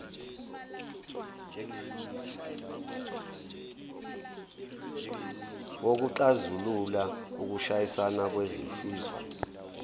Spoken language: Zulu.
wokuxazulula ukushayisana kwezifiso